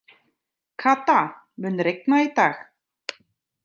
Kata, mun rigna í dag?